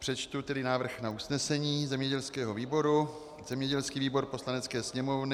Přečtu tedy návrh na usnesení zemědělského výboru: "Zemědělský výbor Poslanecké sněmovny